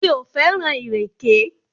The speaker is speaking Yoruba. Mi ò fẹ́ràn ìrèké.